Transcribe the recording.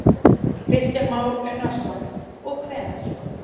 Kristján Már Unnarsson: Og hvenær?